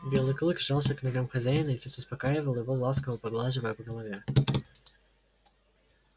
белый клык жался к ногам хозяина и тот успокаивал его ласково поглаживая по голове